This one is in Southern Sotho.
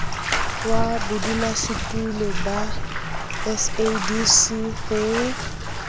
wa bodulasetulo ba sadc ho